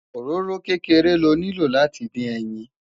òróró kékeré ló nilo láti dín ẹyìn